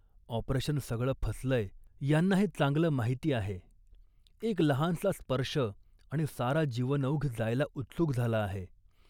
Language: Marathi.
ऑपरेशन सगळं फसलंय, यांना हे चांगलं माहिती आहे. एक लहानसा स्पर्श आणि सारा जीवनौघ जायला उत्सुक झाला आहे